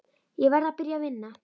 Ég verð að byrja að vinna.